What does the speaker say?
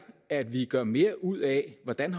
at vi gør mere ud af hvordan